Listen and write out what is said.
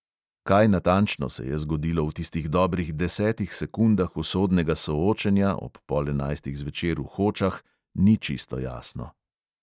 Kaj natančno se je zgodilo v tistih dobrih desetih sekundah usodnega soočenja ob pol enajstih zvečer v hočah, ni čisto jasno.